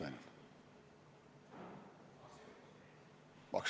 Vabandust!